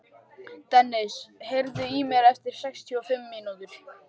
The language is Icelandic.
Dennis, heyrðu í mér eftir sextíu og fimm mínútur.